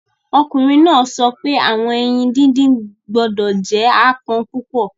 Ọkunrin naa sọ pe awọn eyin didin gbọdọ jẹ aapọn pupọ